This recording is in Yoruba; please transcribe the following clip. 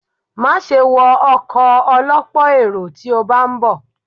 Máa ṣe wọ ọkọ̀ ọ lọ́pọ̀ èrò tí o bá ń bọ̀.